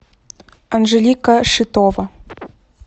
анжелика шитова